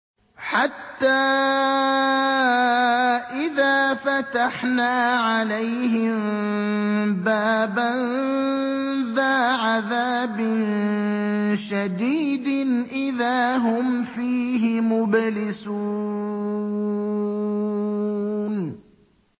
حَتَّىٰ إِذَا فَتَحْنَا عَلَيْهِم بَابًا ذَا عَذَابٍ شَدِيدٍ إِذَا هُمْ فِيهِ مُبْلِسُونَ